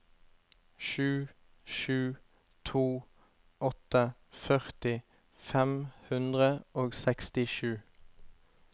sju sju to åtte førti fem hundre og sekstisju